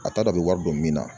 A t'a dɔn a bɛ wari don min na